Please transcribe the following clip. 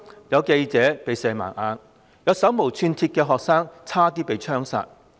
有記者被射盲，亦有手無寸鐵的學生差點被槍殺。